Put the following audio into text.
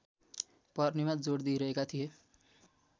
पर्नेमा जोड दिइरहेका थिए